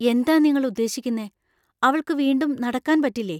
എന്താ നിങ്ങൾ ഉദ്ദേശിക്കുന്നേ ? അവൾക്ക് വീണ്ടും നടക്കാൻ പറ്റില്ലേ ?